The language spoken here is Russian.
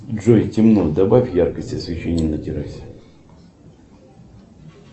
джой темно добавь яркости освещения на террасе